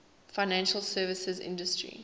financial services industry